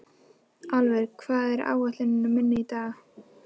Álfur, hvað er á áætluninni minni í dag?